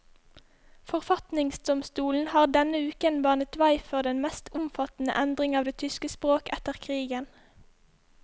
Forfatningsdomstolen har denne uken banet vei for den mest omfattende endring av det tyske språk etter krigen.